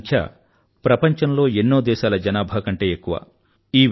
ఈ సంఖ్య ప్రపంచంలో ఎన్నో దేశాల జనాభా కంటే ఎక్కువ